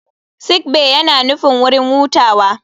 Sick bay yana nufin wurin hutawa.